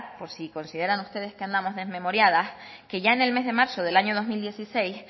por si consideran ustedes que andamos desmemoriadas que ya en el mes de marzo del año dos mil dieciséis